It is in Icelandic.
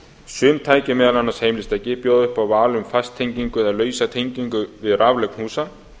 sum tæki meðal annars heimilistæki bjóða upp á val um fasttengingu eða lausa tengingu við raflögn húsa